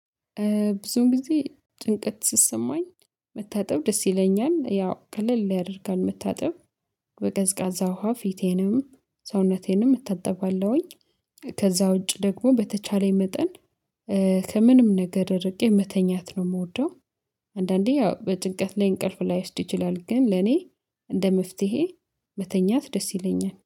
ብዙ ጊዜ ጭንቀት ሲሰማኝ መታጠብ ደስ ይለኛል ያው ቀለል ያደርጋል መታጠብ በቀዝቃዛ ውሃ ፊቴንም ሰውነቴንም እታጥባለሁኝ። ከዛ ውጪ ደግሞ በተቻለኝ መጠን ከምንም ነገር እርቄ መተኛት ነው የምወደው። አንዳንዴ ያው በጭንቀት ላይ እንቅልፍ ላይወስድ ይችላል ግን ለኔ እንደ መፍትሄ መተኛት ደስ ይለኛል